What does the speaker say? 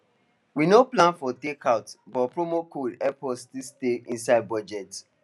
we no plan for takeout but promo code help us still stay inside budget